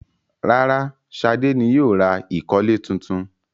Rárá, Ṣadé ni yóò ra ìkọ́lẹ̀ tuntun.